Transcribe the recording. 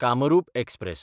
Kamrup express